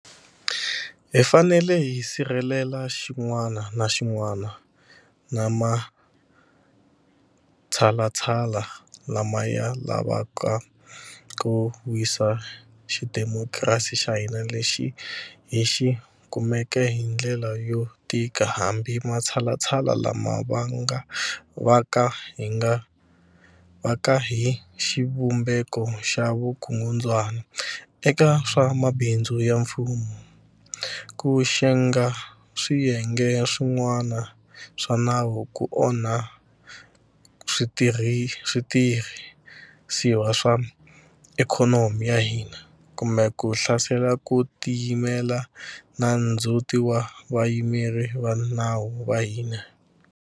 Hi fanele hi sirhelela xin'wana na xin'wana na matshalatshala lama ya lavaka ku wisa xidemokirasi xa hina lexi hi xi kumeke hi ndlela yo tika hambi matshalatshala lama va ka hi xivumbeko xa vukungundzwana eka swa mabindzu ya mfumo, ku xenga swiyenge swin'wana swa nawu, ku onha switirhi siwa swa ikhonomi ya hina, kumbe ku hlasela ku tiyimela na ndzhuti wa Vayimeri va nawu va hina.